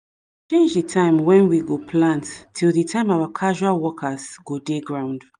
the time wen we go plant till the time our casual workers go dey ground